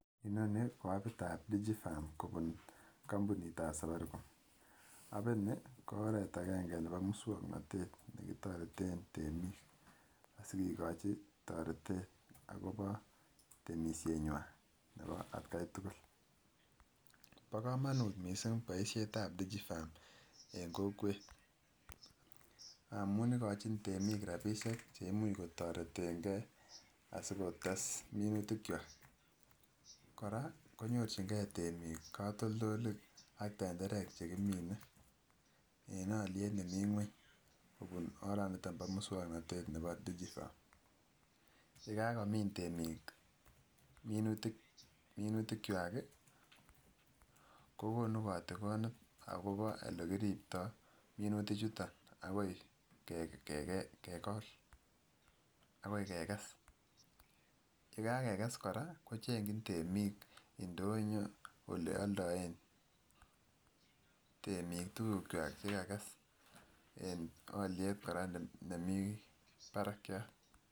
Inonii ko apitab Digi Farm kobuun kombunitab Safaricom, apinii ko oreet akeng'e neboo muswoknotet netoreten temiik asikikochi toretet akoboo temisenywan neboo atkai tukul, bokomonut mising boishetab Digi Farm en kokwet amuun ikochin temiik rabishek cheimuch kotoreten kee asikotes minutik kwaak, koraa konyorching'e temiik katoldolik ak tenderek chekimine en oliet nemii ngweny kobuun oraniton niboo muswoknotet neboo Digi Farm, yakakomin temiik minutik kwaak kokonu kotikonet akobo elekiribto minuti chuton akoi kegol akoi kekes, yee kakekes kora kochengyin temiik indonyo olee oldoen temiik tukuk kwaak chekakes en oliet kora nemii barakyat.